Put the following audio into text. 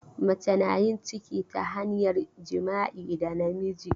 Mace na yin ciki ta hanyar jima'i da namiji.